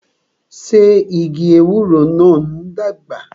Ṣé igi ewúro náà ń dàgbà?